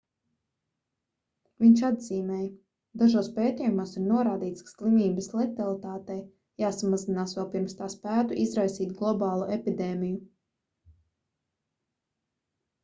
viņš atzīmēja dažos pētījumos ir norādīts ka slimības letalitātei jāsamazinās vēl pirms tā spētu izraisīt globālu epidēmiju